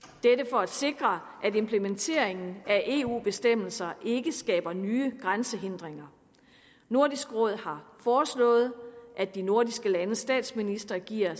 for at sikre at implementeringen af eu bestemmelser ikke skaber nye grænsehindringer nordisk råd har foreslået at de nordiske landes statsministre giver